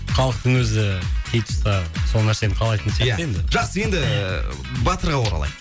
халықтың өзі сол нәрсені қалайтын сияқты енді жақсы енді ііі батырға оралайық